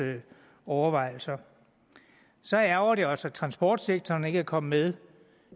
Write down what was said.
overvejelser så ærgrer det os at transportsektoren ikke er kommet med